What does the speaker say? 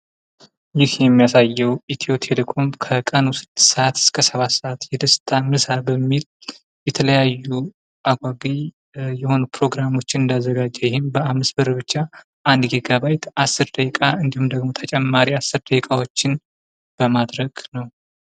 ይህ የሚያሳየው ኢትዮ ቴሌኮም ከቀኑ ስድስት ሰአት እስከ ሰባት ሰዓት የደስታ ምስ በሚል የሚተለያዩ አጓጊ ፕሮግራሞችን እንዳዘጋጀ ይህም በአምስት ብር ብቻ አንድ ጊጋ ባይት አስር ደቂቃ እንዲሁም ደግሞ ተጨማሪ አስር ደቂቃዎችን ለማድረግ ነው።